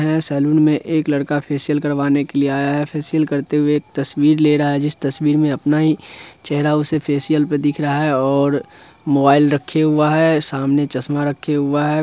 Salon में एक लड़का फेसियल करवाने के लिए आया हैं फेसियल करते हुए हैं एक तस्वीर ले रहा हैं जिस तस्वीर में अपना ही चहरा उसे फेसियल पे दिख रहा हैं और मोबाइल रखे हुआ हैं सामने चश्मा रखे हुआ हैं।